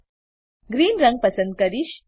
હું ગ્રીન રંગ પસંદ કરીશ